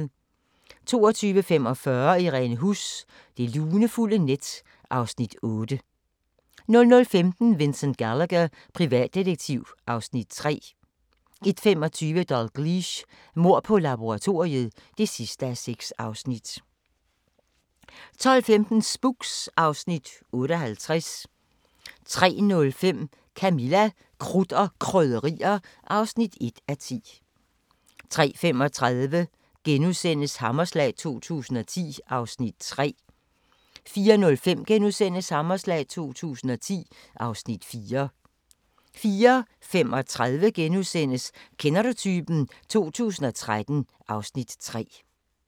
22:45: Irene Huss: Det lunefulde net (Afs. 8) 00:15: Vincent Gallagher, privatdetektiv (Afs. 3) 01:25: Dalgliesh: Mord på laboratoriet (6:6) 02:15: Spooks (Afs. 58) 03:05: Camilla – Krudt og Krydderier (1:10) 03:35: Hammerslag 2010 (Afs. 3)* 04:05: Hammerslag 2010 (Afs. 4)* 04:35: Kender du typen? 2013 (Afs. 3)*